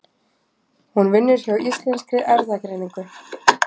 Hún vinnur hjá Íslenskri erfðagreiningu.